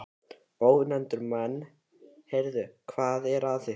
Ónefndir menn: Heyrðu, hvað er að ykkur?